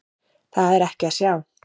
Það er ekki að sjá.